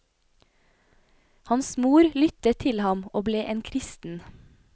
Hans mor lyttet til ham og ble en kristen.